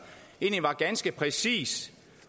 egentlig var ganske præcis